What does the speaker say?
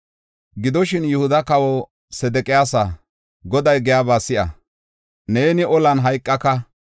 “Gidoshin, Yihuda kawaw Sedeqiyaasa, Goday giyaba si7a. Neeni olan hayqaka.